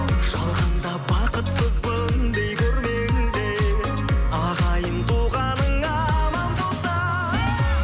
жалғанда бақытсызбын дей көрмеңдер ағайын туғаның аман болса